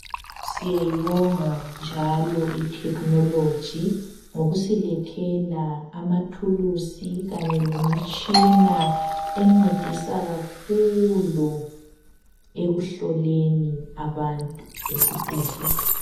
Siyayibonga njalo i technology ngokusilethela amathulusi kanye lemitshina encedisa kakhulu ekuhloleni abantu esibhedlela.